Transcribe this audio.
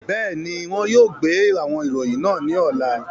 Bẹẹni, wọn yóò gbe awọn iroyin naa ni ọla.